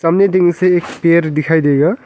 से पैर दिखाई देगा।